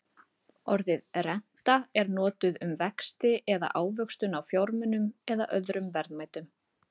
orðið renta er notað um vexti eða ávöxtun á fjármunum eða öðrum verðmætum